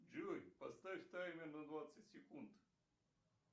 джой поставь таймер на двадцать секунд